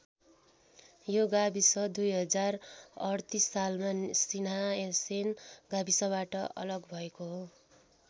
यो गाविस २०३८ सालमा सिंहासैन गाविसबाट अलग भएको हो।